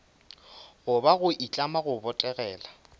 goba go itlama go botegela